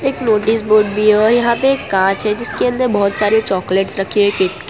एक notice board भी है और यहां पे कांच है जिसके अंदर बहोत सारे चॉकलेट्स रखे है किटकैट --